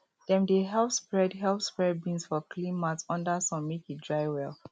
dem dey help spread help spread beans for clean mat under sun make e dry well